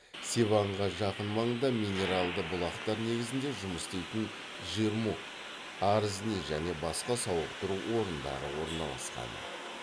севанға жақын маңда минералды бұлақтар негізінде жұмыс істейтін джермук арзни және басқа сауықтыру орындары орналасқан